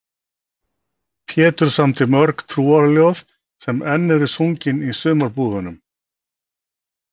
Pétur samdi mörg trúarljóð sem enn eru sungin í sumarbúðunum.